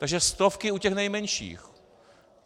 Takže stovky u těch nejmenších.